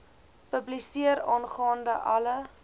publiseer aangaande alle